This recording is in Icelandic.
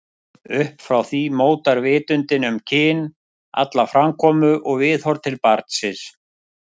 Upp frá því mótar vitundin um kyn alla framkomu og viðhorf til barnsins.